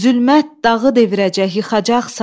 Zülmət dağı devirəcək, yıxacaqsan.